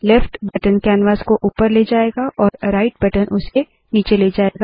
left button canvas को ऊपर ले जाएगा और राइट बटन उसे नीचे ले जाएगा